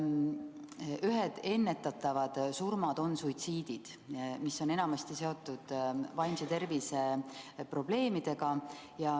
Me teame, et ennetatavate surmade hulka kuuluvad suitsiidid, mis on enamasti seotud vaimse tervise probleemidega.